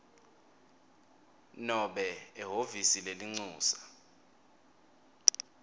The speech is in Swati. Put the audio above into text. nobe ehhovisi lelincusa